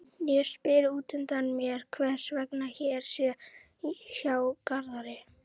Ég spyr útundan mér hvers vegna Hera sé hjá Garðari.